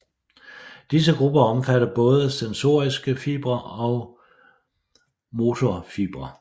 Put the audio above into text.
Disse grupper omfatter både sensoriske fibre og motorfibre